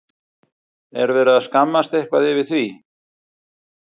Er verið að skammast eitthvað yfir því?